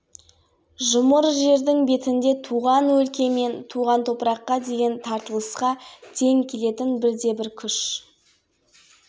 адам болмас туған жер бағдарламасы әрбір отандасымызды кіндік қаны тамған өлкені өркендетуге елі алдындағы парызын